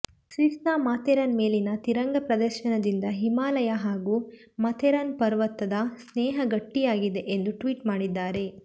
ಸ್ವಿಸ್ನ Matterhorn ಮೇಲಿನ ತಿರಂಗ ಪ್ರದರ್ಶನದಿಂದ ಹಿಮಾಲಯ ಹಾಗೂ ಮಾಥೆರಾನ್ ಪರ್ವತದ ಸ್ನೇಹ ಗಟ್ಟಿಯಾಗಿದೆ ಎಂದು ಟ್ವೀಟ್ ಮಾಡಿದ್ದಾರೆ